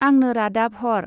आंनो रादाब हर।